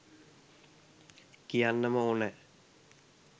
කියන්නම ඕන.